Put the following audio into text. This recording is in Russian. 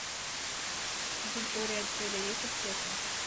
на территории отеля есть аптека